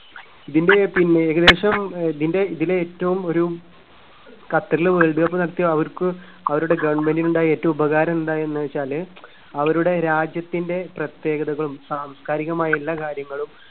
ഇതിന്റെ പിന്നെ ഏകദേശം ആഹ് ഇതിന്റെ ഇതില് ഏറ്റവും ഒരു ഖത്തറില് വേൾഡ് കപ്പ് നടത്തിയ അവർക്ക് അവരുടെ government നുണ്ടായ ഏറ്റവും ഉപകാരം എന്താണെന്നു വെച്ചാല്. അവരുടെ രാജ്യത്തിന്റെ പ്രത്യേകതകളും സാംസ്‌കാരികമായ എല്ലാ കാര്യങ്ങളും